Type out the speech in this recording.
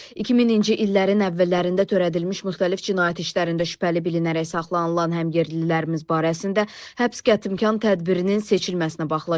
2000-ci illərin əvvəllərində törədilmiş müxtəlif cinayət işlərində şübhəli bilinərək saxlanılan həmyerlilərimiz barəsində həbs qətimkan tədbirinin seçilməsinə baxılacaq.